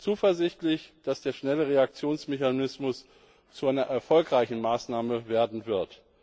zuversichtlich, dass der Schnellreaktionsmechanismus zu einer erfolgreichen Maßnahme werden wird.